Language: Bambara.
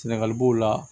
Sɛnɛgali b'o la